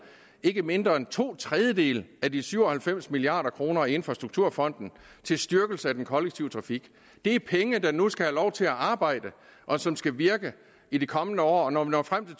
ikke mindre end to tredjedele af de syv og halvfems milliard kroner i infrastrukturfonden til styrkelse af den kollektive trafik det er penge der nu skal have lov til at arbejde og som skal virke i de kommende år og når vi når frem til